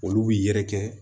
Olu bi yɛrɛkɛ